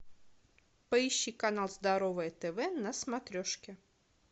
поищи канал здоровое тв на смотрешке